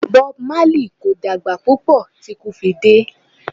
Bob Marley kò dàgbà púpọ̀ tí ikú fi dé.